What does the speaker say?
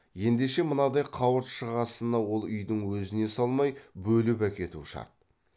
ендеше мынадай қауырт шығасыны ол үйдің өзіне салмай бөліп әкету шарт